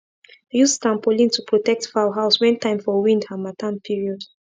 use tarpaulin to protect fowl house when time for wind harmattan period